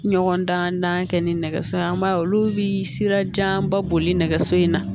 Ɲɔgɔndan kɛ ni nɛgɛso ye an b'a ye olu bɛ sirajanba boli nɛgɛso in na